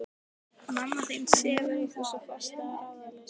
Mamma þín sefur eitthvað svo fast sagði hann ráðleysislega.